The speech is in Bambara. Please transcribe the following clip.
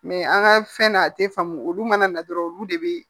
Mɛ an ka fɛn na a tɛ faamu olu mana na dɔrɔn olu de bɛ